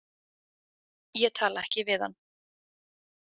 Ég tala ekki við hann.